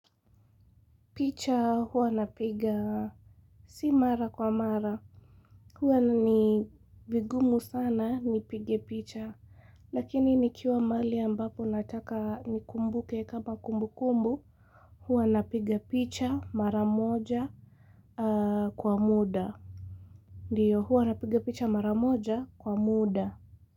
Picha huwa napiga si mara kwa mara Huwa ni vigumu sana nipige picha Lakini ni kiwa mahali ambapo nataka ni kumbuke kama kumbu kumbu Huwa napiga picha mara moja kwa muda Ndio huwa napiga picha mara moja kwa muda.